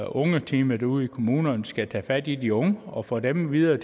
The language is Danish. ungeteamet ude i kommunerne skal tage fat i de unge og få dem videre